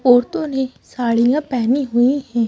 औरतों ने साड़ियां पहनी हुई हैं।